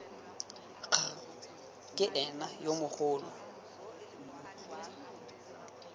kgr ke ena yo mogolo